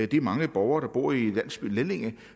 de mange borgere der bor i landsbyen lellinge